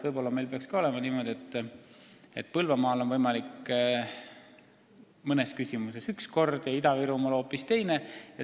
Võib-olla meil peaks ka olema niimoodi, et Põlvamaal on võimalik mõnes valdkonnas üks kord ja Ida-Virumaal hoopis teine.